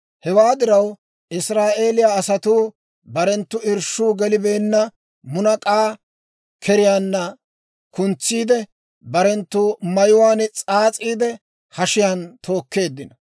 Hewaa diraw, Israa'eeliyaa asatuu barenttu irshshuu gelibeenna munak'aa keriyaan kuntsiidde, barenttu mayuwaan s'aas'iide, hashiyaan tookeeddino.